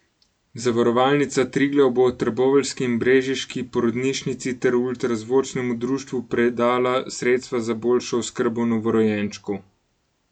Zavarovalnica Triglav bo trboveljski in brežiški porodnišnici ter ultrazvočnemu društvu predala sredstva za boljšo oskrbo novorojenčkov.